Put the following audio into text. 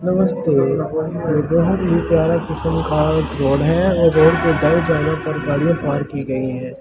नमस्ते ये बहूत ही प्यारा किस्म का रोड है और रोड के दायें जाने पर गाड़िया पार्क की गयी है।